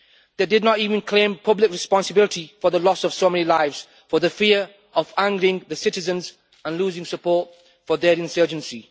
They did not even claim public responsibility for the loss of so many lives, for fear of angering the citizens and losing support for their insurgency.